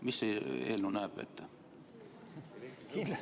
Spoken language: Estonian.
Mida see eelnõu ette näeb?